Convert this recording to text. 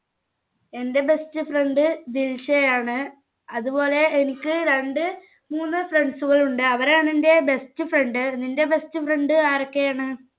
എന്റെ best friend ദിൽഷയാണ്. അതുപോലെ എനിക്ക് രണ്ട് മൂന്ന് friend കളുണ്ട്. അവരാണ് എൻ്റെ best friend. നിന്റെ best friend ആരൊക്കെയാണ്?